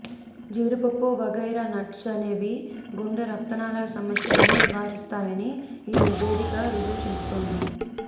జీడిపప్పు వగైరా నట్స్ అనేవి గుండె రక్తనాళాల సమస్యలను నివారిస్తాయని ఈ నివేదిక రుజువు చేస్తోంది